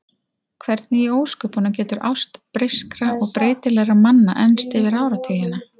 Hvernig í ósköpunum getur ást breyskra og breytilegra manna enst yfir áratugina?